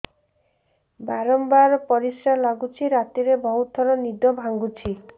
ବାରମ୍ବାର ପରିଶ୍ରା ଲାଗୁଚି ରାତିରେ ବହୁତ ଥର ନିଦ ଭାଙ୍ଗୁଛି